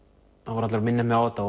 voru allir að minna mig á þetta